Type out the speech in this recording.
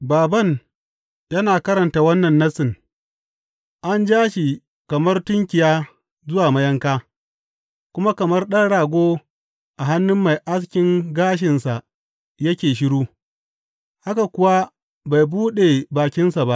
Bābān yana karanta wannan Nassin, An ja shi kamar tunkiya zuwa mayanka, kuma kamar ɗan rago a hannun mai askin gashinsa yake shiru, haka kuwa bai buɗe bakinsa ba.